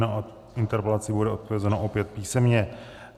Na interpelaci bude odpovězeno opět písemně.